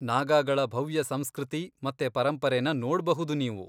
ನಾಗಾಗಳ ಭವ್ಯ ಸಂಸ್ಕೃತಿ ಮತ್ತೆ ಪರಂಪರೆನ ನೋಡ್ಬಹುದು ನೀವು.